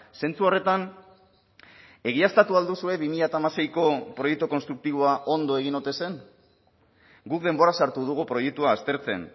zentzu horretan egiaztatu al duzue bi mila hamaseiko proiektu konstruktiboa ondo egin ote zen guk denbora sartu dugu proiektua aztertzen